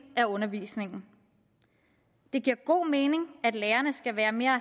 af undervisningen det giver god mening at lærerne skal være mere